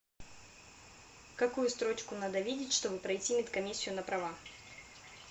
какую строчку надо видеть чтобы пройти медкомиссию на права